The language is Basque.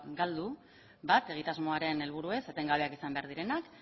galdu bat egitasmoaren helburuez etengabeak izan behar direnak